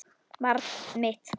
Barn mitt.